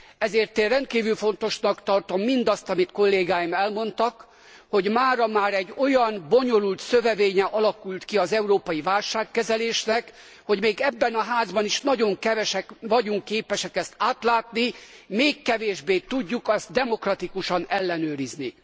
Ezért én rendkívül fontosnak tartom mindazt, amit kollégáim elmondtak, hogy mára már egy olyan bonyolult szövevénye alakult ki az európai válságkezelésnek, hogy még ebben a házban is nagyon kevesek vagyunk képesek ezt átlátni, még kevésbé tudjuk azt demokratikusan ellenőrizni.